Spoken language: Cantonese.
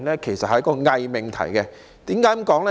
這是一個偽命題，為何這樣說呢？